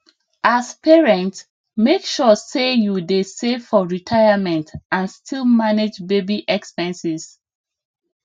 as parent make sure say you dey save for retirement and still manage baby expenses